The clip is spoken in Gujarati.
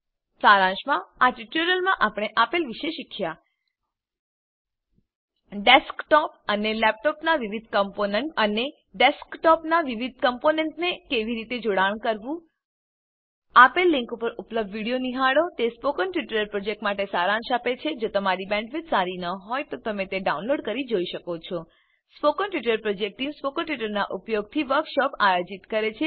સારાંશમાં આ ટ્યુટોરીયલમાં આપણે આપેલ વિશે શીખ્યા ડેસ્કટોપ અને લેપટોપનાં વિવિધ કમ્પોનન્ટ અને ડેસ્કટોપનાં વિવિધ કમ્પોનન્ટને કેવી રીતે જોડાણ કરવું આપેલ લીંક પર ઉપલબ્ધ વિડીઓ નિહાળો httpspoken tutorialorgWhat is a Spoken Tutorial તે સ્પોકન ટ્યુટોરીયલ પ્રોજેક્ટનો સારાંશ આપે છે જો તમારી પાસે સારી બેન્ડવિડ્થ ન હોય તો તમે તેને ડાઉનલોડ કરીને જોઈ શકો છો spoken tutorial project team spoken ટ્યુટોરીયલોનાં ઉપયોગથી વર્કશોપો આયોજિત કરે છે